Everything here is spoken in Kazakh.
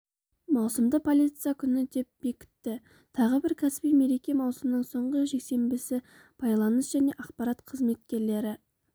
маусымды полиция күні деп бекітті тағы бір кәсіби мереке-маусымның соңғы жексенбісі байланыс және ақпарат қызметкерлері